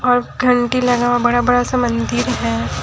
और घंटी लगा हुआ बड़ा बड़ा सा मंदिर है।